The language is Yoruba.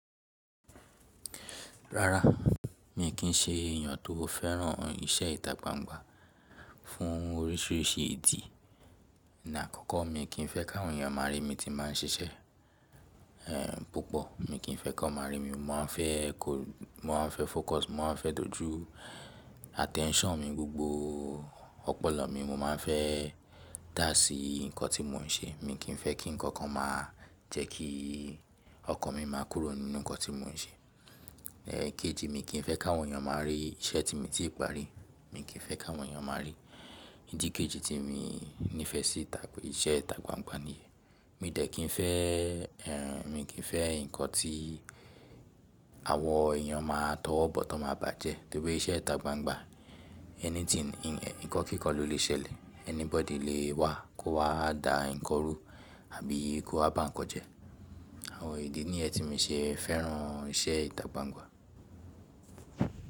Rárá, mi kì í ṣe èèyàn tó fẹ́ràn iṣẹ́ ìtà gbangba fún oríṣiríṣi ìtí. Ǹi àkọ́kọ́, mi kì í fẹ́ káwọn èèyàn máa rí mi tí màá ń ṣẹṣẹ. Púpọ̀, mi kì í fẹ́ kán máa rí mi. Mi o má a fẹ́ kò, mo wa fẹ́ focus, mo má a fẹ́ dojú attention mi gbogbo ọpọlọ mi mo má a fẹ́ dà sí nǹkan tí mo ń ṣe. Mi kì í fẹ́ kí nǹkan kan máa jẹ́ kí ọkàn mi máa kúrò nínú nǹkan tí mo ń ṣe. Kejì, mi kì í fẹ́ káwọn èèyàn máa rí iṣẹ́ tí mi ti parí. Mi kì í fẹ́ káwọn èèyàn máa rí i. Ìdí kejì tí mi nífẹ̀ẹ́ sí ìtà, iṣẹ́ ìtà gbangba ni yen. Mi dẹ̀ kì í fẹ́, mi kì í fẹ́ nǹkan tí àwọn èèyàn máa tọwọ́ bọ̀ tan máa bàjẹ́. Nítorí iṣẹ́ ìtà gbangba, anything, nǹkan kíkan ló lè ṣẹlẹ̀. Anybody lè wá kó wá dà nǹkan rú àbí kó wá bá nǹkan jẹ́. Àwọn ìdí nìyẹn tí mi ṣe fẹ́ràn iṣẹ́ ìtà gba n gba.